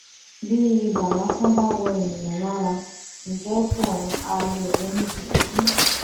bí ibà lásán bá wọ ènìyàn lára ńjẹ tóhun ha lè ronú gidi bí